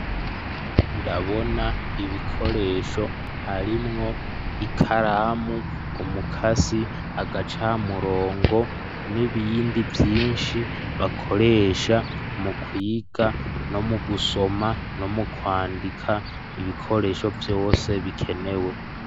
Ndabona ibikoresho; harimwo: ikaramu, umukasi, agacamurongo, n'ibindi vyinshi, bakoresha, mu kwiga, no mu gusoma, no mu kwandika, ibikoresho vyose, bikenewe.